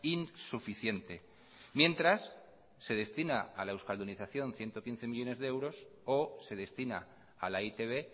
insuficiente mientras se destina a la euskaldunización ciento quince millónes de euros o se destina a la e i te be